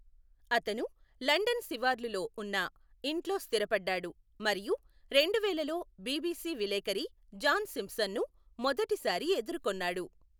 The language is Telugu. అతను లండన్ శివార్లులో ఉన్న ఇంట్లో స్థిరపడ్డాడు మరియు రెండువేలలో బిబిసి విలేఖరి జాన్ సింప్సన్ను మొదటిసారి ఎదుర్కొన్నాడు.